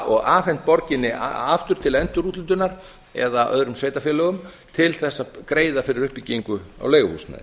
og afhent borginni aftur til endurúthlutunar eða öðrum sveitarfélögum til þess að greiða fyrir uppbyggingu á leiguhúsnæði